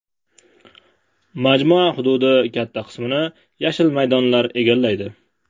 Majmua hududi katta qismini yashil maydonlar egallaydi.